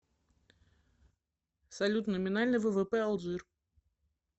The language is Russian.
салют номинальный ввп алжир